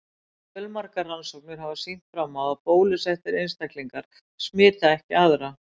Fjölmargar rannsóknir hafa sýnt fram á að bólusettir einstaklingar smita ekki aðra.